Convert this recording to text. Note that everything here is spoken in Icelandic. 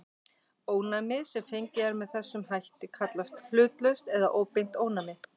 Ónæmi sem fengið er með þessum hætt kallast hlutlaust eða óbeint ónæmi.